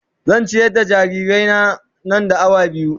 Zan ciyar da jarirai na, nan da awa biyu.